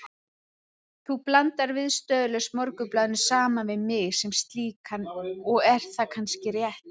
Þú blandar viðstöðulaust Morgunblaðinu saman við mig sem slíkan og er það kannski rétt.